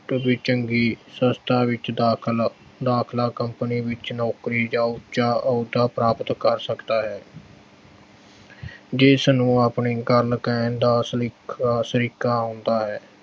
ਕਿਸੇ ਚੰਗੀ ਸੰਸਥਾ ਵਿੱਚ ਦਾਖਲ, ਦਾਖਲਾ company ਵਿੱਚ ਨੌਕਰੀ ਜਾਂ ਉੱਚਾ ਅਹੁਦਾ ਪ੍ਰਾਪਤ ਕਰ ਸਕਦਾ ਹੈ ਜਿਸਨੂੰ ਅਪਣੀ ਗੱਲ ਕਹਿਣ ਦਾ ਸਲੀਕ ਅਹ ਸਲੀਕਾ ਹੁੰਦਾ ਹੈ।